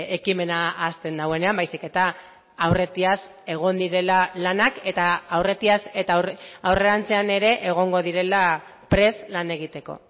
ekimena hasten duenean baizik eta aurretiaz egon direla lanak eta aurretiaz eta aurrerantzean ere egongo direla prest lan egiteko